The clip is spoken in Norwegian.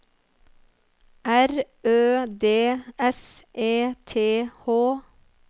R Ø D S E T H